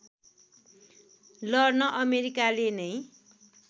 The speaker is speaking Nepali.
लड्न अमेरिकाले नै